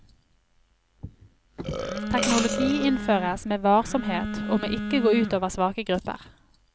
Teknologi innføres med varsomhet og må ikke gå ut over svake grupper.